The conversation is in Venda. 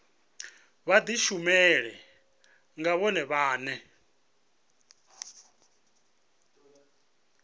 vha dishumele nga vhone vhane